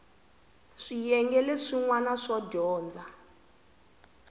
swiyenge leswin wana swo dyondza